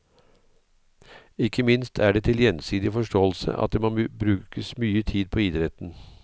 Ikke minst er det til gjensidig forståelse at det må brukes mye tid på idretten.